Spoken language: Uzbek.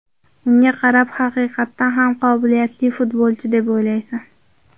Unga qarab, haqiqatdan ham qobiliyatli futbolchi deb o‘ylaysan.